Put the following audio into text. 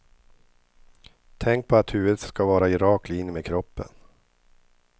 Tänk på att huvudet ska vara i rak linje med kroppen.